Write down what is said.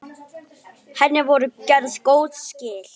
Hjartað mitt Þú ávallt sagðir.